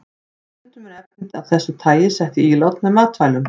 Stundum eru efni af þessu tagi sett í ílát með matvælum.